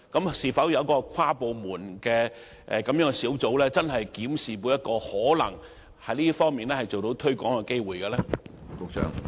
會否成立跨部門小組，認真檢視可能就這方面進行推廣的機會？